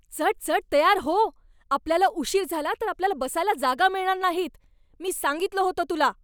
चटचट तयार हो! आपल्याला उशीर झाला तर आपल्याला बसायला जागा मिळणार नाहीत, मी सांगितलं होतं तुला.